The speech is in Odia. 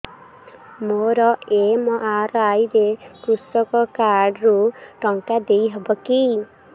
ମୋର ଏମ.ଆର.ଆଇ ରେ କୃଷକ କାର୍ଡ ରୁ ଟଙ୍କା ଦେଇ ହବ କି